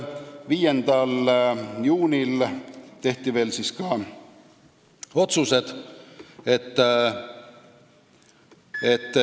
5. juunil tehti ka otsused.